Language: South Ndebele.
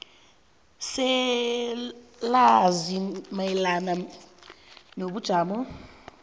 selwazi mayelana nobujamo